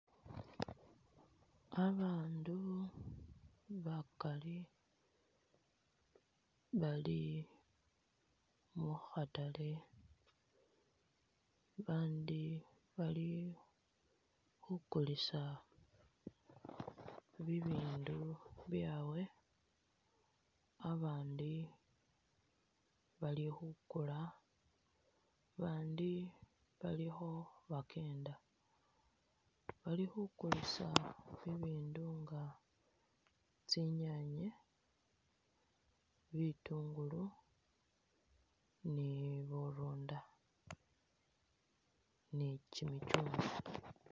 Babaandu bakali bali mu khatale babandi bali khukulisa bibindu byawe, abandi bali khukula abandi bali kho bakenda. Bali khukulisa ibindu nga tsinyaanye, bitungulu ni burunda ni kimichungwa.